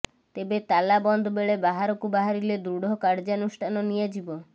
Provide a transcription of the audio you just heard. ତେବେ ତାଲା ବନ୍ଦ ବେଳେ ବାହାରକୁ ବାହାରିଲେ ଦୃଢ କାର୍ଯ୍ୟାନୁଷ୍ଠାନ ନିଆଯିବ